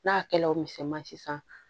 N'a kɛla o misɛnman si san